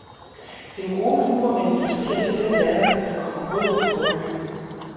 Den gode humor manifesteres i den latter, der kommer gråden i forkøbet.